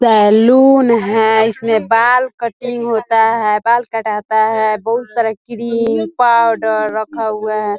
Salon है इसमें बाल कटिंग होता है बाल काटता है बहुत सारा क्रीम पाउडर रखा हुआ है।